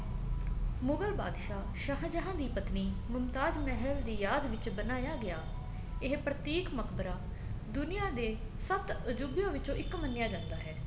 ਮੁਗ਼ਲ ਬਾਦਸ਼ਾਹ ਸ਼ਾਹਜਹਾਂ ਦੀ ਪਤਨੀ ਮੁਮਤਾਜ ਮਹਿਲ ਦੀ ਯਾਦ ਵਿੱਚ ਬਣਾਇਆ ਗਿਆ ਇਹ ਪ੍ਰਤੀਕ ਮਕਬਰਾ ਦੁਨੀਆ ਦੇ ਸੱਤ ਅਜੂਬਿਆ ਵਿਚੋ ਇੱਕ ਮੰਨਿਆ ਜਾਂਦਾ ਹੈ